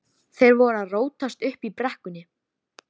Þeir voru að rótast uppi í brekkum.